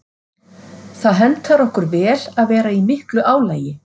Það hentar okkur vel að vera í miklu álagi.